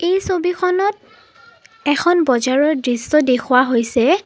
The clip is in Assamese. এই ছবিখনত এখন বজাৰৰ দৃশ্য দেখুওৱা হৈছে।